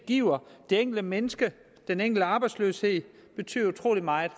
giver det enkelte menneske og den enkelte arbejdsløse betyder utrolig meget